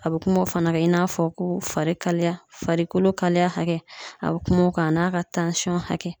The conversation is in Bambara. A be kuma o fana kan i n'a fɔ ko fari kalaya farikolo kalaya hakɛ a be kuma o kan a n'a ka tansɔn hakɛ